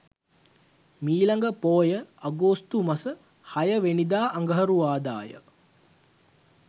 මීළඟ පෝය අගෝස්තු මස 06 වැනිදා අඟහරුවාදාය.